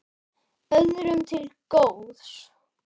Öðrum til góðs.